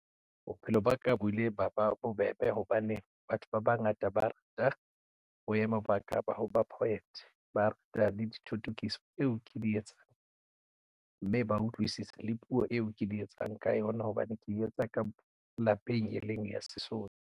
Bophelo ba ka bo ile ba ba bobebe hobane batho ba bangata ba rata boemo ba ka ba ho ba poet ba rata le dithotokiso eo ke di etsang mme ba utlwisisa le puo eo ke di etsang ka yona hobane ke etsa ka lapeng e leng ya Sesotho.